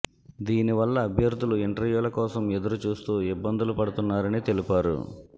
దీని వల్ల అభ్యర్థులు ఇంటర్వ్యూల కోసం ఎదురు చూస్తూ ఇబ్బందులు పడుతున్నారని తెలిపారు